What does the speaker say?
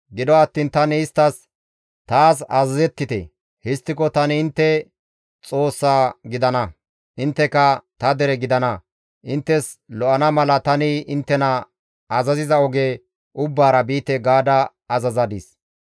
Gido attiin tani isttas, ‹Taas azazettite; histtiko tani intte Xoossa gidana; intteka ta dere gidana; inttes lo7ana mala tani inttena azaziza oge ubbaara biite› gaada azazadis.